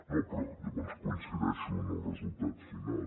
no però llavors coincideixo en el resultat final